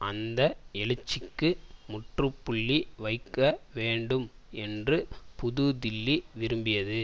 அந்த எழுச்சிக்கு முற்று புள்ளி வைக்க வேண்டும் என்று புதுதில்லி விரும்பியது